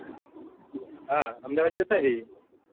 હા અમદાવાદ જતા રહીએ